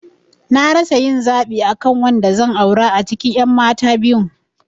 Na rasa yin zaɓi akan wanda zan aura a cikin ƴan mata biyun